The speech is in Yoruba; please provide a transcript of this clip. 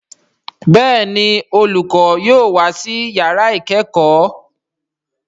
Béèni akẹkọ yóò wá sí yàrá ikẹkọ.